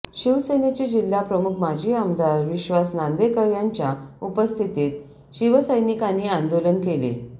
शिवसेनेचे जिल्हा प्रमुख माजी आमदार विश्वास नांदेकर यांच्या उपस्थितीत शिवसैनिकांनी आंदोलन केले